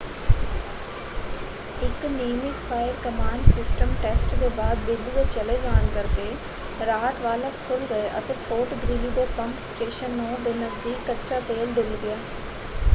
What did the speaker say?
ਇੱਕ ਨਿਯਮਿਤ fire command system test ਦੇ ਬਾਅਦ ਬਿਜਲੀ ਦੇ ਚਲੇ ਜਾਣ ਕਰਕੇ ਰਾਹਤ ਵਾਲਵ ਖੁੱਲ੍ਹ ਗਏ ਅਤੇ ਫੋਰਟ ਗ੍ਰੀਲੀ ਦੇ ਪੰਪ ਸਟੇਸ਼ਨ 9 ਦੇ ਨਜ਼ਦੀਕ ਕੱਚਾ ਤੇਲ ਡੁੱਲ੍ਹ ਗਿਆ।